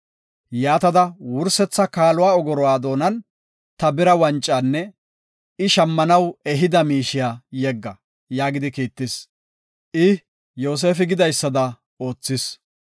Yaatada wursetha kaaluwa ogoruwa doonan ta bira wancaanne I shammanaw ehida miishiya yegga” yaagidi kiittis. I Yoosefi gidaysada oothis.